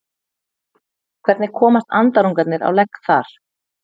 hvernig komast andarungarnir á legg þar